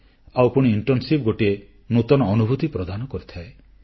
ଆଉ ପୁଣି ଇଣ୍ଟର୍ଣ୍ଣସିପ ଗୋଟିଏ ନୂତନ ଅନୁଭୂତି ପ୍ରଦାନ କରିଥାଏ